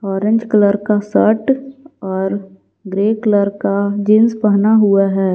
Orange colour का shirt और grey colour का जींस पहना हुआ है।